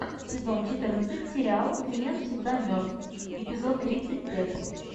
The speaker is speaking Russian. сезон четырнадцать сериал клиент всегда мертв эпизод тридцать пять